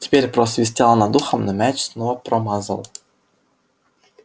теперь просвистело над ухом но мяч снова промазал